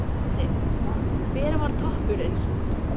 Gísli: Hver var toppurinn?